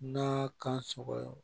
N'a kan sɔgɔ